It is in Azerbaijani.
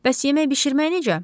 Bəs yemək bişirmək necə?